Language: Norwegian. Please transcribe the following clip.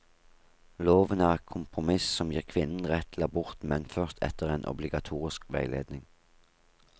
Loven er et kompromiss som gir kvinnen rett til abort, men først etter en obligatorisk veiledning.